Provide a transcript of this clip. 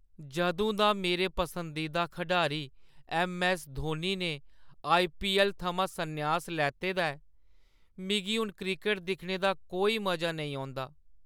जदूं दा मेरे पसंदीदा खढारी ऐम्म. ऐस्स. धोनी ने आई. पी. ऐल्ल. थमां सन्यास लैते दा ऐ, मिगी हून क्रिकट दिक्खने दा कोई मजा नेईं औंदा।